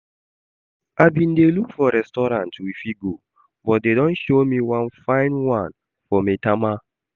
I bin dey look for restaurant we fit go, but Dare don show me one fine one for Maitama